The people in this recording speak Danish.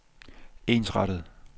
ensrettet